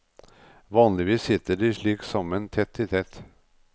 Vanligvis sitter de slik sammen tett i tett.